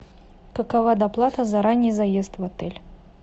какова доплата за ранний заезд в отель